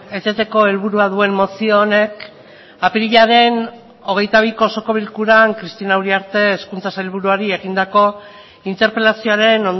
eteteko helburua duen mozio honek apirilaren hogeita biko osoko bilkuran cristina uriarte hezkuntza sailburuari egindako interpelazioaren